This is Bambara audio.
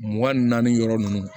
Mugan naani yɔrɔ ninnu